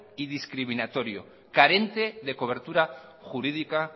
y discriminatorio carente de cobertura jurídica